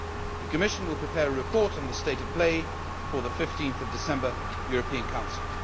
The Commission will prepare a report on the state of play for the 15 December European Council.